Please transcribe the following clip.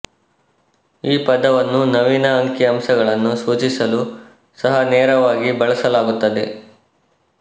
ಈ ಪದವನ್ನು ನವೀನ ಅಂಕಿಅಂಶಗಳನ್ನು ಸೂಚಿಸಲು ಸಹ ನೇರವಾಗಿ ಬಳಸಲಾಗುತ್ತದೆ